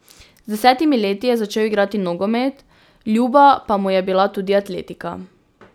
Z desetimi leti je začel igrati nogomet, ljuba pa mu je bila tudi atletika.